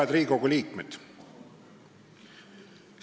Head Riigikogu liikmed!